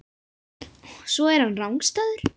Svo er hann rangstæður.